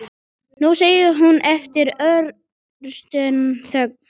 Nú, segir hún eftir örstutta þögn.